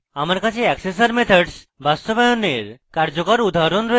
আমার কাছে accessor methods বাস্তবায়নের কার্যরত উদাহরণ রয়েছে